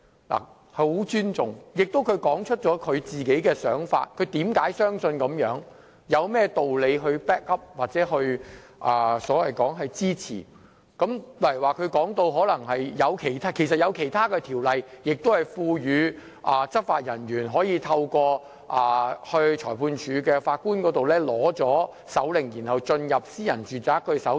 我十分尊重她，而她亦說出自己的想法，解釋她為何相信應這樣做，有甚麼道理 back up 或支持自己的論點，例如她談到其實有其他法例亦賦予執法人員可透過向裁判法院申領搜查令後，進入私人住宅搜查。